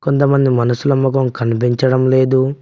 కొంత మంది మనుషుల మొఖం కనిపించడం లేదు.